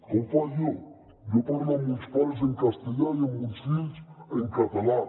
com faig jo jo parlo amb els meus pares en castellà i amb els meus fills en català